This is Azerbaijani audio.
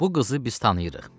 Bu qızı biz tanıyırıq.